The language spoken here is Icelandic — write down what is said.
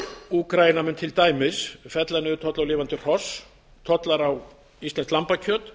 úkraína mun til dæmis fella niður tolla á lifandi hross tollar á íslenskt lambakjöt